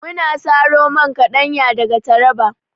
Muna saro man kaɗanya daga taraba